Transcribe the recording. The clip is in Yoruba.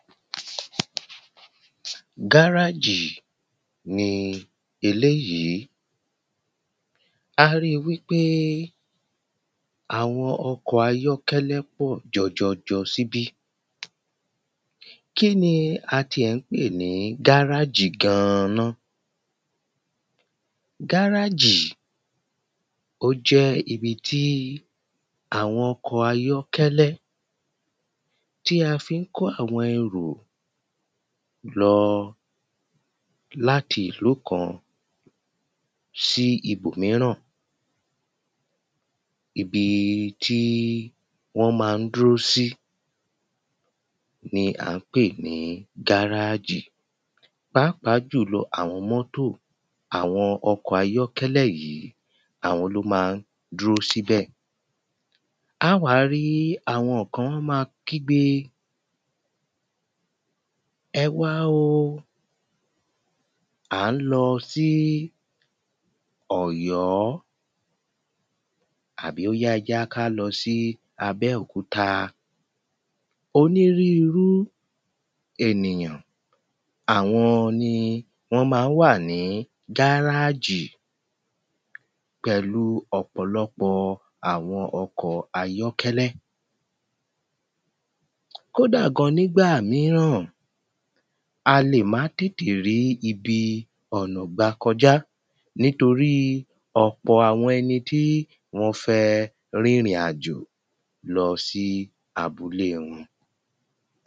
Gárájì ni eléèyí a rí wípé àwọn ọkọ̀ ayọ́kẹlẹ́ pọ̀ jọjọjọ síbí. kíni a ti ẹ̀ ń pè ní gárájì gan ná? Gárájì ó jẹ́ ibi tí àwọn ọkọ̀ ayọ́kẹlẹ́ tí a fi ń kó àwọn ẹrù lọ láti ìlú kan sí ibòmíɹàn. Ibi tí wọ́n má ń dúró sí ni à ń pè ní gáràjì pàápàá jùlọ àwọn mọ́tọ̀ àwọn ọkọ̀ ayọ́kẹlẹ́ yìí àwọn ló má ń dúró síbẹ̀. Á wá rí àwọn kan wọ́n má ń kígbe ẹ wá o à ń lọ sí ọ̀yọ́ àbí óyá ẹ jẹ́ kí á lọ sí abẹ́òkúta. Onírúrú ènìyàn àwọn ni wọ́n má ń wà ní gáràjì pẹ̀lú ọ̀pọ̀lọpọ̀ àwọn ọkọ̀ ayókẹ́lẹ́ kódà gan nígbà míràn a lè má tètè rí ibi ọ̀nà gbà kọjá nítorí ọ̀pọ̀ àwọn ẹnití wọ́n fẹ́ rìn ìrìn àjọ̀ lọ sí abúlé wọn.